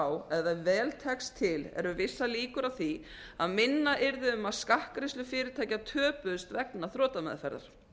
á að ef vel tekst til eru vissar líkur á því að minna yrði um að skattgreiðslur fyrirtækja töpuðust vegna þrotameðferðar